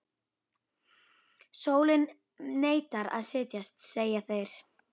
Sólin neitar að setjast, segja þeir.